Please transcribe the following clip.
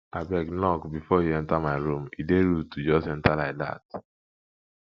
abeg knock before you enter my room e dey rude to just enter like dat